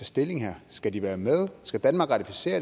stilling her skal de være med skal danmark ratificere